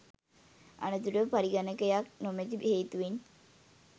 අනතුරුව පරිගනකයක් නොමැති හේතුවෙන්